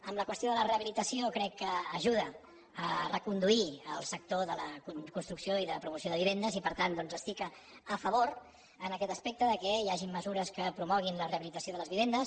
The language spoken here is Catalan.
en la qüestió de la rehabilitació crec que ajuda a reconduir el sector de la construcció i de promoció de vivendes i per tant doncs estic a favor en aquest aspecte que hi hagi mesures que promoguin la rehabilitació de les vivendes